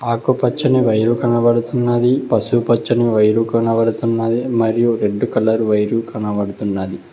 ఆకు పచ్చని వైరు కనపడుతున్నది పసుపు పచ్చని వైరు కనపడుతున్నది మరియు రెడ్ కలర్ వైరు కనపడుతున్నది.